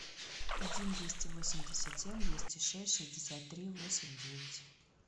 один двести восемьдесят семь двести шесть шестьдесят три восемь девять